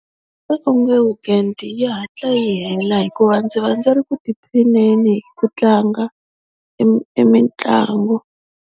weekend yi hatla yi hela hikuva ndzi va ndzi ri ku tiphineni hi ku tlanga e mitlangu.